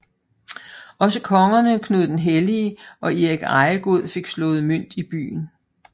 Også kongerne Knud den Hellige og Erik Ejegod fik slået mønt i byen